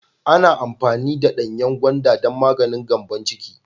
Ana amfani da danyen gwanda don maganin Gambon ciki.